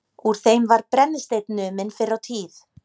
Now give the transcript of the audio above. Úr þeim var brennisteinn numinn fyrr á tíð.